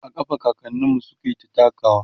a ƙafa kakaninmu sukyita takawa